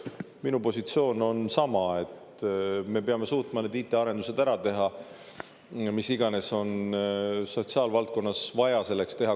Minu positsioon on sama, et me peame suutma need IT-arendused ära teha, mis iganes on sotsiaalvaldkonnas vaja selleks teha.